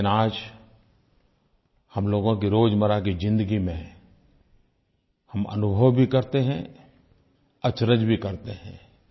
लेकिन आज हम लोगों की रोज़मर्रा की ज़िंदगी में हम अनुभव भी करते हैं अचरज़ भी करते हैं